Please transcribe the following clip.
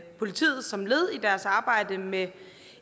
politiet som led i deres arbejde med